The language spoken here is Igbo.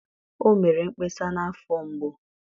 o mere mkpesa na afo mgbu.